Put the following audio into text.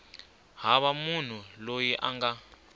hava munhu loyi a nga